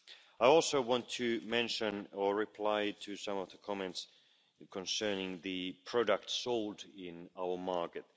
I also want to mention or reply to some of the comments concerning the products sold on our market.